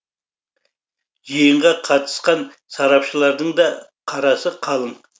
жиынға қатысқан сарапшылардың да қарасы қалың